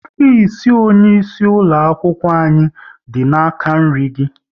Ofisi onye isi ulo akwụkwọ anyị dị n'aka nri gị